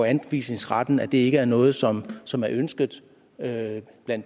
anvisningsretten ikke er noget som som er ønsket af